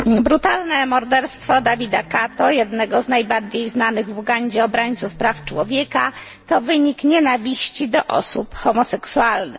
Panie Przewodniczący! Brutalne morderstwo Davida Kato, jednego z najbardziej znanych w Ugandzie obrońców praw człowieka, to wynik nienawiści do osób homoseksualnych.